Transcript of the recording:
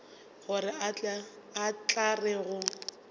gore o tla re go